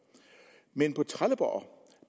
men på trelleborg